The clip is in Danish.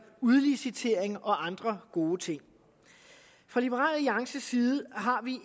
udlicitering og andre gode ting fra liberal alliances side har vi